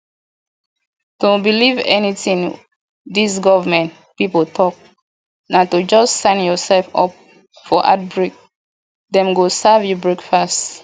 to believe anything dis government people talk na to just sign yourself up for heartbreak dem go serve you breakfast